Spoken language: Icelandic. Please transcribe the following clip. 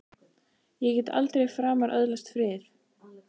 Ég get aldrei framar öðlast frið!